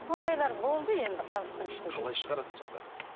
ондайлар болды енді халықтың ішінде қалай шығарасыз сонда